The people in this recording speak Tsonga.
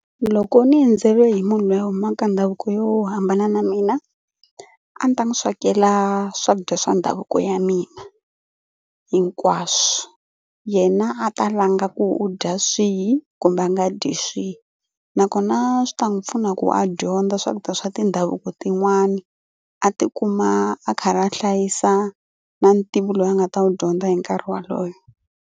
Loko ni endzeriwe hi munhu loyi a humaka ndhavuko yo hambana na mina a ni ta n'wi swekela swakudya swa ndhavuko ya mina hinkwaswo. Yena a ta langa ku u dya swihi kumbe a nga dyi swihi nakona swi ta n'wi pfuna ku a dyondza swakudya swa tindhavuko tin'wani a tikuma a karhi a hlayisa na ntivo loyi a nga ta ku dyondza hi nkarhi wolowo.